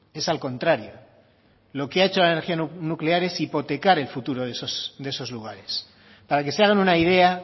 es al contrario lo que ha hecho la energía nuclear es hipotecar el futuro de esos lugares para que se hagan una idea